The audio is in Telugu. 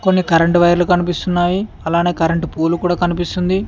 పక్కనే కరెంటు వైర్లు కనిపిస్తున్నాయి అలానే కరెంటు పోలు కూడ కనిపిస్తుంది.